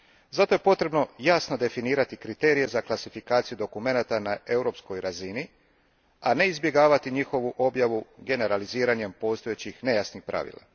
Zato je potrebno jasno definirati kriterije za klasifikaciju dokumenata na europskoj razini, a ne izbjegavati njihovu objavu generaliziranjem postojećih nejasnih pravila.